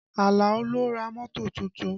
Alao ló ra mọ́tò tuntun